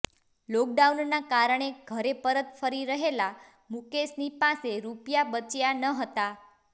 લોકડાઉનના કારણે ઘરે પરત ફરી રહેલા મુકેશની પાસે રુપિયા બચ્યા નહોતાં